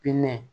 Pinɛ